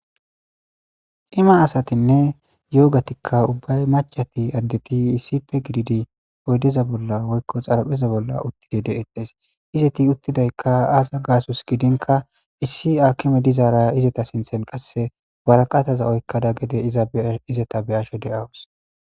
Cima asatinne yoogatikka ubbay maccati addeti issipe gididi oydeza bolla woykko xarapheza bolla uttide deetees. Izeti uttidaykka aaza gaasos gidinka issi akime dizaara izeta sinthen qasse waraqataza oykkada gede izeta be'ashe izeta de'awus.